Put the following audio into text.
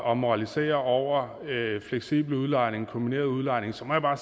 og moraliserer over fleksibel udlejning og kombineret udlejning så må jeg bare